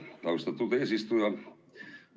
Aitäh, austatud eesistuja!